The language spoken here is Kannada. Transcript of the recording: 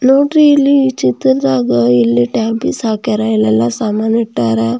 ನೋಡ್ರಿ ಇಲ್ಲಿ ಚಿತ್ರ ದಾಗ ಇಲ್ಲಿ ಹಾಕಾರ ಎಲ್ಲ ಸಮಾನ್ ಹಾಕಾರ.